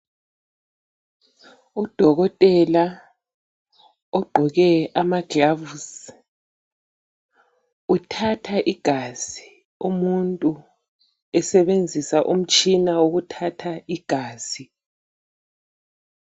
Udokotela ogqoke amagilovisi uthatha igazi umuntu esebenzisa umtshina wokuthatha igazi